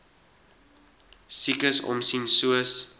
siekes omsien soos